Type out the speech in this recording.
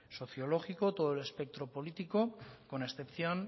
sociológico todo el espectro político con excepción